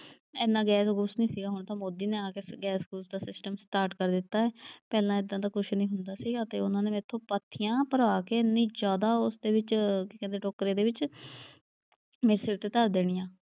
ਐਨਾ ਗੈਸ ਗੂਸ ਨਈਂ ਸੀਗਾ ਹੁਣ ਤਾਂ ਮੋਦੀ ਨੇ ਆ ਗੈਸ ਗੂਸ ਦਾ ਸਿਸਟਮ ਸਟਾਰਟ ਕਰ ਦਿੱਤਾ ਐ। ਪਹਿਲਾਂ ਏਦਾਂ ਦਾ ਕੁਛ ਨਈਂ ਹੁੰਦਾ ਸੀਗਾ ਅਤੇ ਉਨ੍ਹਾਂ ਨੇ ਮੈਥੋਂ ਪਾਥੀਆਂ ਭਰਾ ਕੇ ਐਨੀ ਜਿਆਦਾ ਉਸਦੇ ਵਿੱਚ ਕੀ ਕਹਿੰਦੇ ਟੋਕਰੇ ਦੇ ਵਿੱਚ ਮੇਰੇ ਸਿਰ ਤੇ ਧਰ ਦੇਣੀਆਂ।